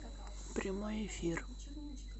прямой эфир